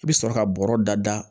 I bɛ sɔrɔ ka bɔrɔ da da